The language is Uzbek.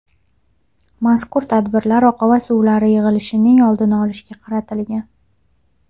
Mazkur tadbirlar oqava suvlari yig‘ilishining oldini olishga qaratilgan.